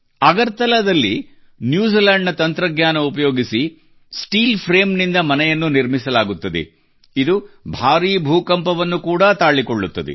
ಅಗರ್ತಲಾದಲ್ಲಿನ್ಯೂ Zealand ನ ತಂತ್ರಜ್ಞಾನ ಉಪಯೋಗಿಸಿ ಸ್ಟೀಲ್ ಫ್ರೇಮ್ ನಿಂದ ಮನೆಯನ್ನು ನಿರ್ಮಿಸಲಾಗುತ್ತದೆ ಇದು ಭಾರೀ ಭೂಕಂಪವನ್ನು ಕೂಡಾ ತಾಳಿಕೊಳ್ಳುತ್ತದೆ